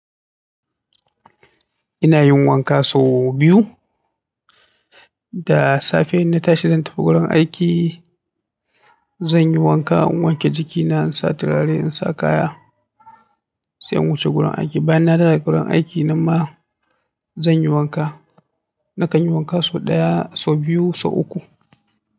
Ina yin wanka sau biyu. Da safe in na tashi zan tafi gurin aiki, zan yi wanka, in wanke jikina, in sa turare, in sa kaya sai in wuce gurin aiki. Bayan na dawo daga gurin aiki, nan ma zan yi wanka. Nakan yi wanka sau ɗaya, sau biyu, sau uku.